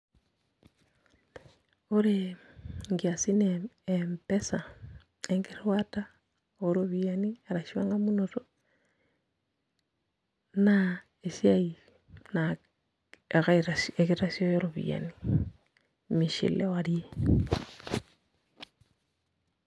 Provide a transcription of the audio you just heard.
Ore nkiasin e M-pesa enkirriwata ooropiyiani arashu eng'amunoto naa esiai naa ekitasioyo iropiyiani, mishiliwaie.